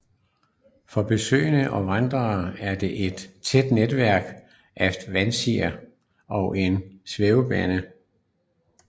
For besøgende og vandrere er der et tæt netværk af vandrestier og en svævebane